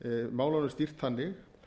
málunum stýrt þannig